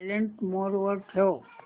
silent mode वर ठेव